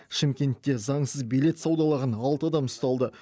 шымкентте заңсыз билет саудалаған алты адам ұсталды